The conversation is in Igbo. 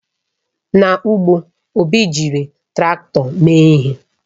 N'ugbo, Obi ji Traktọ mee ihe.